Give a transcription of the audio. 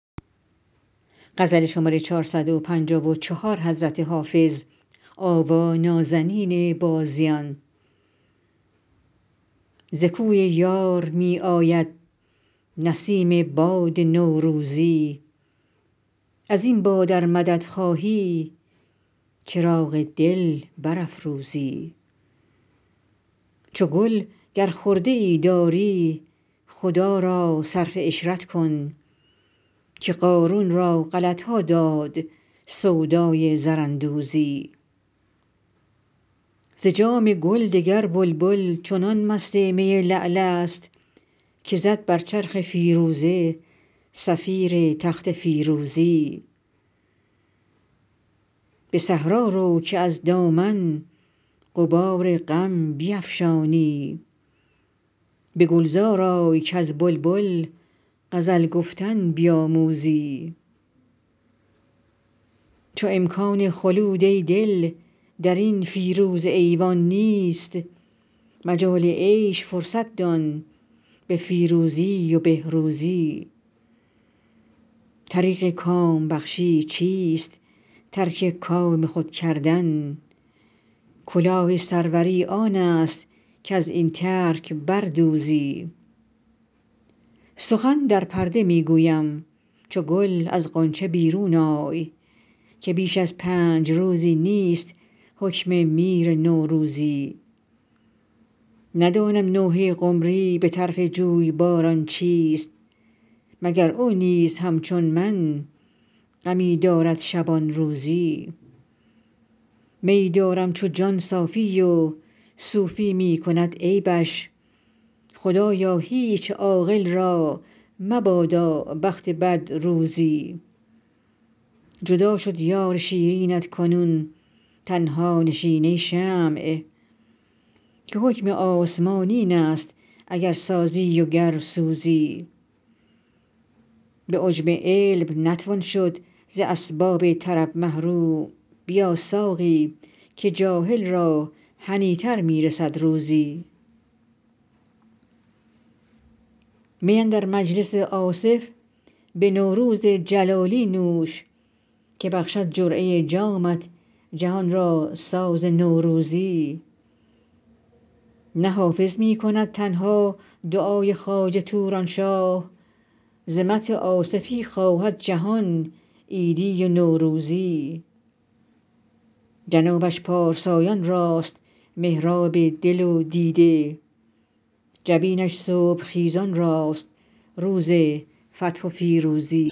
ز کوی یار می آید نسیم باد نوروزی از این باد ار مدد خواهی چراغ دل برافروزی چو گل گر خرده ای داری خدا را صرف عشرت کن که قارون را غلط ها داد سودای زراندوزی ز جام گل دگر بلبل چنان مست می لعل است که زد بر چرخ فیروزه صفیر تخت فیروزی به صحرا رو که از دامن غبار غم بیفشانی به گلزار آی کز بلبل غزل گفتن بیاموزی چو امکان خلود ای دل در این فیروزه ایوان نیست مجال عیش فرصت دان به فیروزی و بهروزی طریق کام بخشی چیست ترک کام خود کردن کلاه سروری آن است کز این ترک بر دوزی سخن در پرده می گویم چو گل از غنچه بیرون آی که بیش از پنج روزی نیست حکم میر نوروزی ندانم نوحه قمری به طرف جویباران چیست مگر او نیز همچون من غمی دارد شبان روزی میی دارم چو جان صافی و صوفی می کند عیبش خدایا هیچ عاقل را مبادا بخت بد روزی جدا شد یار شیرینت کنون تنها نشین ای شمع که حکم آسمان این است اگر سازی و گر سوزی به عجب علم نتوان شد ز اسباب طرب محروم بیا ساقی که جاهل را هنی تر می رسد روزی می اندر مجلس آصف به نوروز جلالی نوش که بخشد جرعه جامت جهان را ساز نوروزی نه حافظ می کند تنها دعای خواجه توران شاه ز مدح آصفی خواهد جهان عیدی و نوروزی جنابش پارسایان راست محراب دل و دیده جبینش صبح خیزان راست روز فتح و فیروزی